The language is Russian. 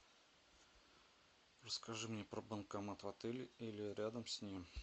расскажи мне про банкомат в отеле или рядом с ним